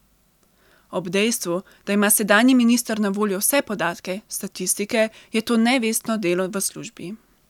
Ob dejstvu, da ima sedanji minister na voljo vse podatke, statistike, je to nevestno delo v službi.